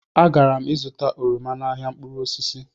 Agara m zụta oroma n'ahịa mkpụrụ osisi